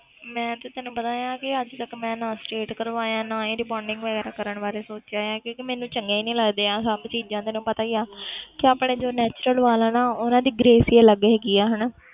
ਮੈਂ ਤੇ ਤੈਨੂੰ ਪਤਾ ਹੈ ਕਿ ਅੱਜ ਤੱਕ ਮੈਂ ਨਾ straight ਕਰਵਾਏ ਆ ਨਾ rebonding ਵਗ਼ੈਰਾ ਕਰਨ ਬਾਰੇ ਸੋਚਿਆ ਹੈ ਕਿਉਂਕਿ ਮੈਨੂੰ ਚੰਗੇ ਨੀ ਲੱਗਦੇ ਆਹ ਸਭ ਚੀਜ਼ਾਂ ਤੈਨੂੰ ਪਤਾ ਹੀ ਆ ਕਿ ਆਪਣੇ ਜੋ natural ਵਾਲ ਹੈ ਨਾ ਉਹਨਾਂ ਦੀ grace ਹੀ ਅਲੱਗ ਹੈਗੀ ਆ ਹਨਾ।